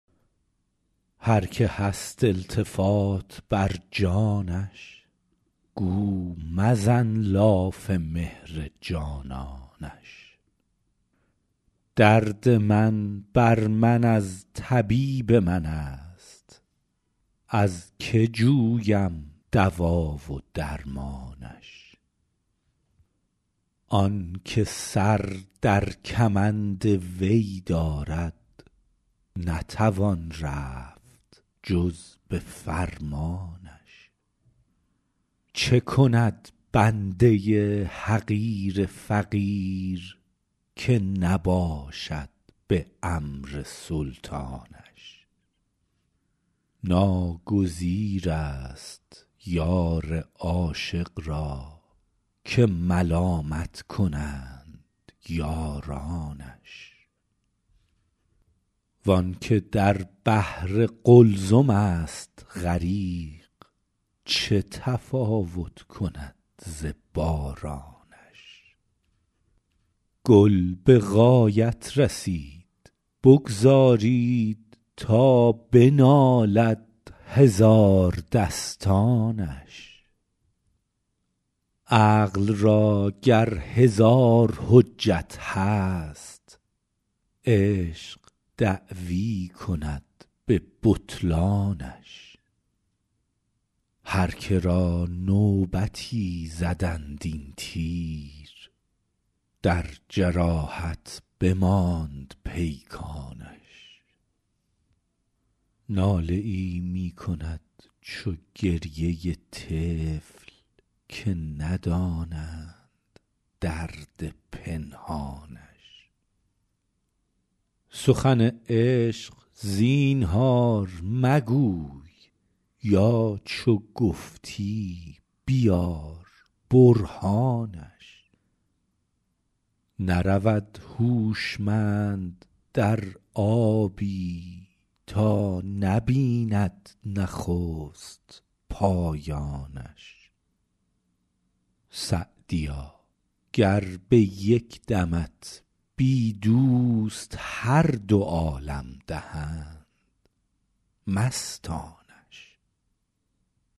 هر که هست التفات بر جانش گو مزن لاف مهر جانانش درد من بر من از طبیب من است از که جویم دوا و درمانش آن که سر در کمند وی دارد نتوان رفت جز به فرمانش چه کند بنده حقیر فقیر که نباشد به امر سلطانش ناگزیر است یار عاشق را که ملامت کنند یارانش وآن که در بحر قلزم است غریق چه تفاوت کند ز بارانش گل به غایت رسید بگذارید تا بنالد هزاردستانش عقل را گر هزار حجت هست عشق دعوی کند به بطلانش هر که را نوبتی زدند این تیر در جراحت بماند پیکانش ناله ای می کند چو گریه طفل که ندانند درد پنهانش سخن عشق زینهار مگوی یا چو گفتی بیار برهانش نرود هوشمند در آبی تا نبیند نخست پایانش سعدیا گر به یک دمت بی دوست هر دو عالم دهند مستانش